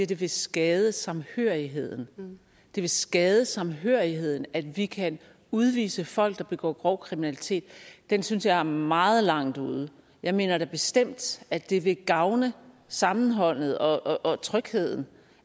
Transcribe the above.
det vil skade samhørigheden altså det vil skade samhørigheden at vi kan udvise folk der begår grov kriminalitet det synes jeg er meget langt ude jeg mener da bestemt at det vil gavne sammenholdet og trygheden